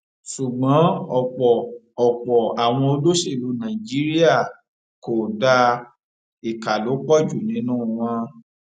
ṣùgbọn ọpọ ọpọ àwọn olóṣèlú nàìjíríà kò dáa ìka ló pọ jù nínú wọn